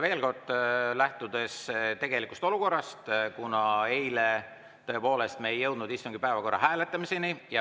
Veel kord: lähtudes tegelikust olukorrast, kuna eile me tõepoolest ei jõudnud istungi päevakorra hääletamiseni.